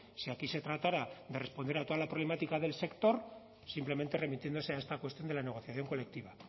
si aquí se tratará de responder a toda la problemática del sector simplemente remitiéndose a esta cuestión de la negociación colectiva